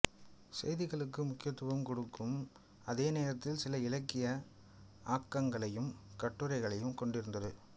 செய்திகளுக்கு முக்கியத்துவம் கொடுக்கும் அதேநேரத்தில் சில இலக்கிய ஆக்கங்களையும் கட்டுரைகளையும் கொண்டிருந்தது